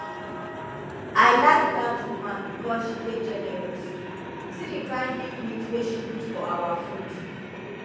i like dat woman because she dey generous see the kyn big meat wey she put for our food